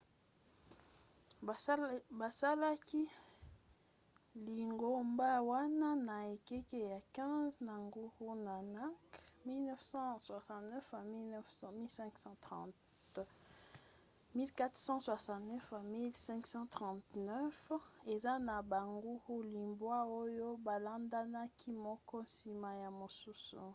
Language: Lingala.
basalaki lingomba wana na ekeke ya 15 na guru nanak 1469–1539. eza na baguru libwa oyo balandanaki moko nsima ya mosusu